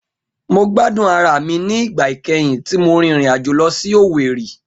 Mo gbadun ara mi ni igba ikẹhin ti mo rin irin ajo lọ si Owerri.